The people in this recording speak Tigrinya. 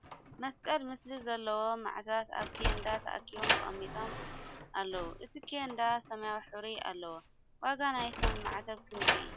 መስቀል ምስሊ ዘለዎም ማዕተባት ኣብ ኬንዳ ተኣኪቦም ተቀሚጦ ም ኣለዉ እቲ ኬንዳ ስማያዊ ሕብሪ ኣለዎ ። ዋጋ ንይቶም ማዕተብ ክንደይ እዩ ?